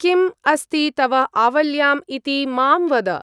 किम् अस्ति तव आवल्याम् इति मां वद।